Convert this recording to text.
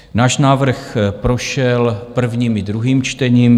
Náš návrh prošel prvním i druhým čtením.